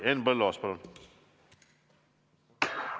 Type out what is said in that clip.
Henn Põlluaas, palun!